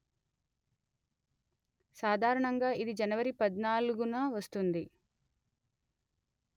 సాధారణంగా ఇది జనవరి పధ్నాలుగున వస్తుంది